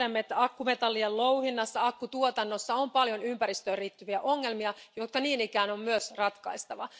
Tiedämme, että akkumetallien louhinnassa ja akkutuotannossa on paljon ympäristöön liittyviä ongelmia, jotka niin ikään on myös ratkaistava.